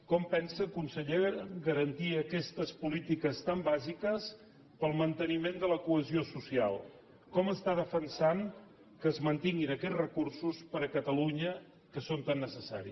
com pensa consellera garantir aquestes polítiques tan bàsiques per al manteniment de la cohesió social com està defensant que es mantinguin aquests recursos per a catalunya que són tan necessaris gràcies